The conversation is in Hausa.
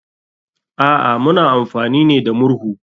A'a, muna amfani ne da murhu.